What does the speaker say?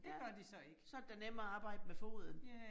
Ja, så det da nemmere at arbejde med foden